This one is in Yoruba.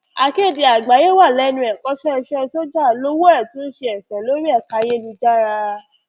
akéde àgbáyéé wà lẹnu ẹkọṣẹ iṣẹ sójà lowó ẹ tún ń ṣe ẹfẹ lórí ẹka ayélujára